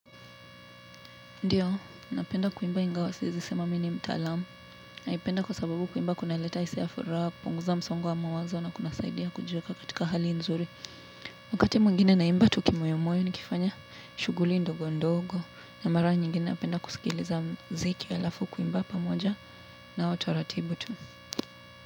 Ndiyo, napenda kuimba ingawa siwezi sema mimi ni mtaalam. Naipenda kwa sababu kuimba kuna leta hisia furaha, kupunguza msongo wa mawazo na kuna saidia kujiweka katika hali nzuri. Wakati mwengine na imba tu kimoyomoyo nikifanya shughuli ndogo ndogo na mara nyingine napenda kusikiliza mziki alafu kuimba pamoja na utaratibu tu.